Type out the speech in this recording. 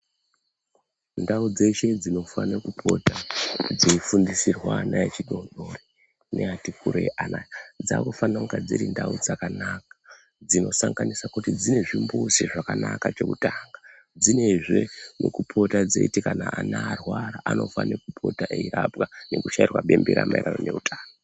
Ndau dzeshe dzinofana pota dzei fundisirwa ana echikora neati kurei ana dzakufana kuva dziri ndau dzakanaka dzinosanganisa kuti dzine zvimbuzi zvakanaka chekutanga dzine zvemekupota kana ana arwara anofana kupota eirapwa nekushairwa bembera mairirano neutano.